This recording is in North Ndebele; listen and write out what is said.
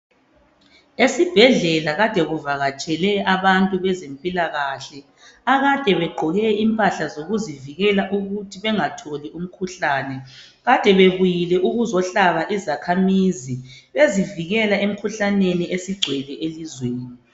Esibhedlela kade kuvakatshele abantu bezempilakahle akade begqoke impahla zokuzivikela ukuthi bengatholi umkhuhlane. Kade bebuyile ukuzohlaba izakhamizi bezivikela emkhuhlaneni esigcwele elizweni.